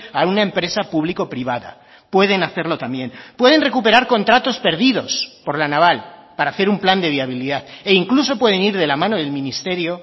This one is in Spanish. a una empresa público privada pueden hacerlo también pueden recuperar contratos perdidos por la naval para hacer un plan de viabilidad e incluso pueden ir de la mano del ministerio